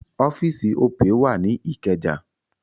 Ọ́fíì̀sì Opay wà ní Ìkẹjà.